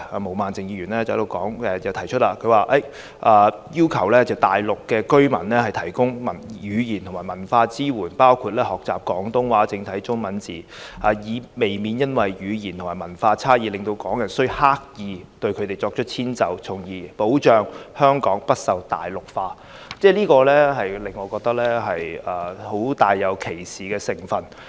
毛孟靜議員提出要向大陸居民"提供語言及文化支援，包括學習廣東話及正體中文字，以避免因為語言及文化差異而令港人需刻意對他們作出遷就，從而保障香港不受'大陸化'"，我認為這建議帶有很強烈的歧視成分。